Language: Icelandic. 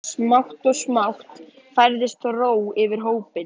Smátt og smátt færðist þó ró yfir hópinn.